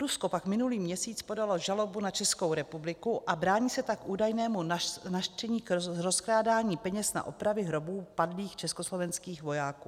Rusko pak minulý měsíc podalo žalobu na Českou republiku a brání se tak údajnému nařčení z rozkrádání peněz na opravy hrobů padlých československých vojáků.